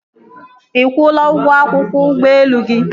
Ị kwụla ụgwọ akwụkwọ ụgbọelu gị?